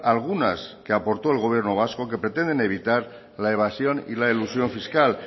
algunas que aportó el gobierno vasco que pretenden evitar la evasión y la elusión fiscal